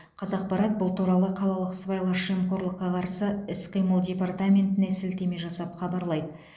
қазақпарат бұл туралы қалалық сыбайлас жемқорлыққа қарсы іс қимыл департаментіне сілтеме жасап хабарлайды